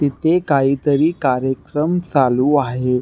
तिथे काहीतरी कार्यक्रम चालु आहे.